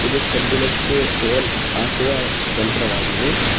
ಇದು ಕಬ್ಬಿಣಕ್ಕೆ ಹೋಲ್ ಹಾಕುವ ಯಂತ್ರವಾಗಿದೆ.